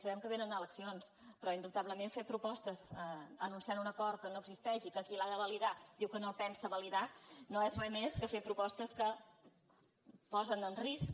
sabem que vénen eleccions però indubtablement fer propos·tes anunciant un acord que no existeix i que qui l’ha de validar diu que no el pensa validar no és re més que fer propostes que posen en risc